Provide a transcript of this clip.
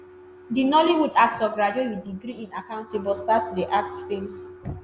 di nollywood actor graduate wit degree in accounting but start to dey act feem